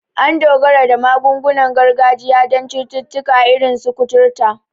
An dogara da magungunan gargajiya don cututtuka irin su kuturta.